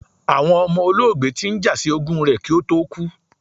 Awọn ọmọ olóògbé ti n ja si ogún rẹ̀ ki ó tó kú